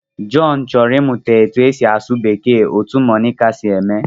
John chọrọ ịmụta ka e si asụ Bekee otú Monica si eme